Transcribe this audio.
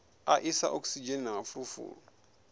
a isa okisidzheni na mafulufulu